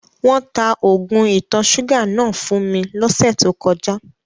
Wọn tà oogun ìtọ̀ sugà náà fun mi lọsẹ̀ tó kọja.